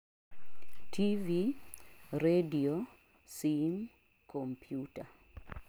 tv,radio, sim, computer